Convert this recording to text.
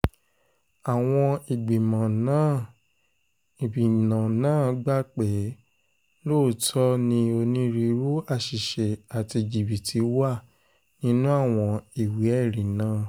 àwọn ìgbìmọ̀ náà ìgbìmọ̀ náà gbà pé lóòótọ́ ni onírúurú àṣìṣe àti jìbìtì wà nínú àwọn ìwé-ẹ̀rí náà